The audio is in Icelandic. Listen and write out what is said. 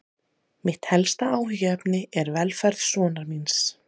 Mitt helsta áhyggjuefni er velferð sonar míns.